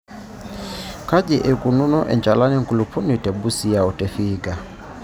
Kaji eikununo enchalan enkulupuoni te Busia o te Vihiga.